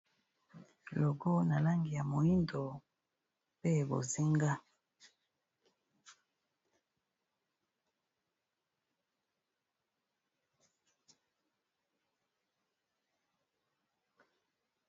logo ya langi ya moindo pe bozinga.